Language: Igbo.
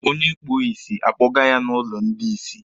Onye kpuo isi, a kpọga ya n'ụlọ ndị isi.